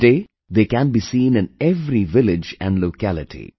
Today they can be seen in every village and locality